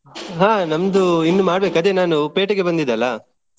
ಹಾ ನಮ್ದು ಇನ್ನು ಮಾಡ್ಬೇಕು ಅದೇ ನಾನು ಪೇಟೆಗೆ ಬಂದಿದ್ದೆ ಅಲ್ಲ.